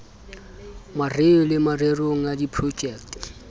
mareo le mererong ya diprojekte